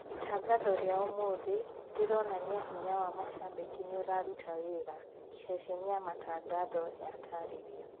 " Itangatho rĩa ũmũthĩ rĩronania hinya wa macambĩki nĩ ũraruta wĩra," ceceni ya matangatho ya tarĩria.